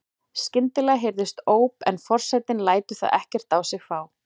Skyndilega heyrist óp en forsetinn lætur það ekkert á sig fá.